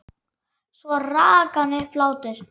Svo rak hann upp hlátur.